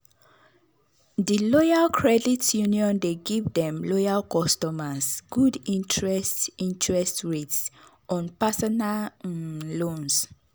the loyal credit union dey give dem loyal customers good interest interest rates on personal um loans.